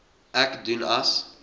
ek doen as